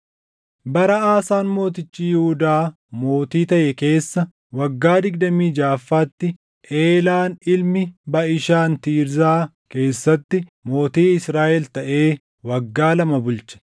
Bara Aasaan mootichi Yihuudaa mootii taʼe keessa waggaa digdamii jaʼaffaatti Eelaan ilmi Baʼishaan Tiirzaa keessatti mootii Israaʼel taʼee waggaa lama bulche.